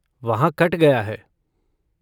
वहाँ कट गया है।